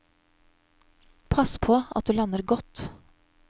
Pass på at du lander godt.